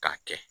K'a kɛ